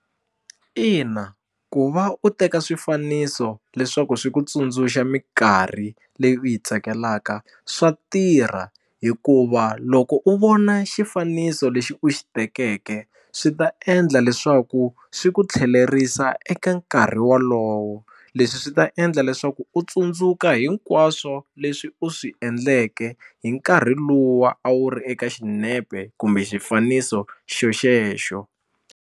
Ina ku va u teka swifaniso leswaku swi ku tsundzuxa minkarhi leyi u yi tsakelaka swa tirha hikuva loko u vona xifaniso lexi u xi tekeke swi ta endla leswaku swi ku tlhelerisa eka nkarhi wolowo leswi swi ta endla leswaku u tsundzuka hinkwaswo leswi u swi endleke hi nkarhi luwa a wu ri eka xinepe kumbe xifaniso xona xexo.